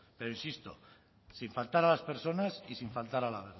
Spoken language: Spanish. pero insisto sin faltar a las personas y sin faltar a la